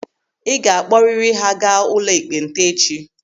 Ị ga-akpọriri ha gaa ụlọ ekpenta echi!